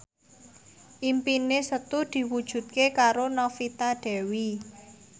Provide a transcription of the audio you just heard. impine Setu diwujudke karo Novita Dewi